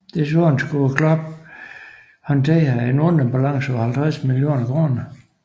Desuden skulle klubben håndtere en underbalance på 50 millioner kroner